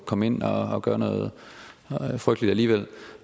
komme ind og gøre noget frygteligt alligevel